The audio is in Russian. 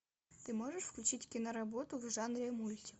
ты можешь включить киноработу в жанре мультик